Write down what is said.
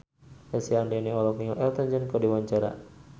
Lesti Andryani olohok ningali Elton John keur diwawancara